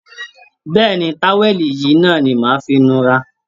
Bẹ́ẹ̀́ ni, táwẹ̀lì yìí náà ni màá fi nura